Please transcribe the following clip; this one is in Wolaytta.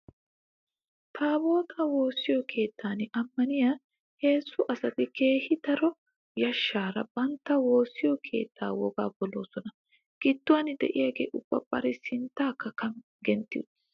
Taabootaa woossiyo keettan ammaniya heezzu asati keehi daro yashshaara bantta woossiyo keettee wogaa poloosona. Gidduwan diyagee ubba bari sinttaakka gentti uttiis.